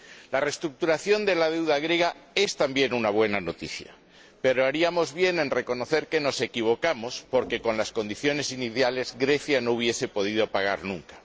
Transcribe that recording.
La reestructuración de la deuda griega es también una buena noticia, pero haríamos bien en reconocer que nos equivocamos, porque, con las condiciones iniciales, Grecia no hubiese podido pagar nunca.